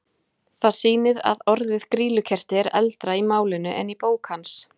Það sýnir að orðið grýlukerti er eldra í málinu en í bók hans.